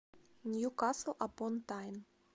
ньюкасл апон тайн